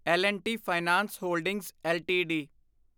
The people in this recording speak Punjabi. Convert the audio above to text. L and T finance holdings LTD